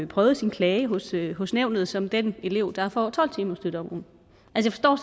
prøvet sin klage hos klage hos nævnet som den elev der får tolv timers støtte om ugen altså